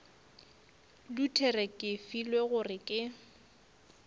luthere ke filwe gore ke